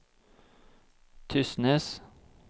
Tysnes